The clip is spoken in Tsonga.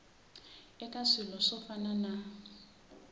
eka swilo swo fana na